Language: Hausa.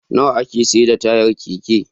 Nawa ake saida tayar Keke?